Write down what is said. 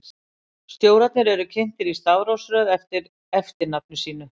Stjórarnir eru kynntir í stafrófsröð eftir eftirnafni sínu.